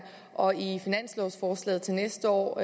og i finanslovsforslaget til næste år